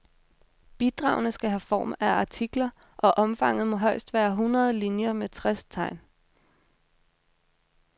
Bidragene skal have form af artikler, og omfanget må højst være hundrede linier med tres tegn.